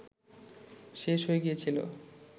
শেষ হয়ে গিয়েছিল